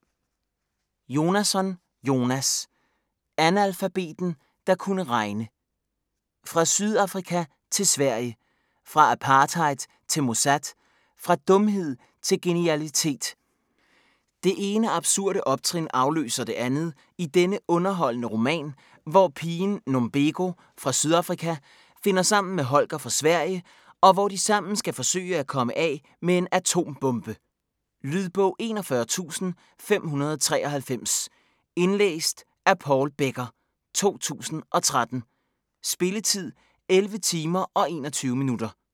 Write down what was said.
Jonasson, Jonas: Analfabeten der kunne regne Fra Sydafrika til Sverige, fra apartheid til Mossad, fra dumhed til genialitet. Det ene absurde optrin afløser det andet i denne underholdende roman, hvor pigen Nombeko fra Sydafrika finder sammen med Holger fra Sverige og hvor de sammen skal forsøge at komme af med en atombombe! Lydbog 41593 Indlæst af Paul Becker, 2013. Spilletid: 11 timer, 21 minutter.